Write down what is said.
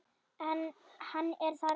En hann er þarna.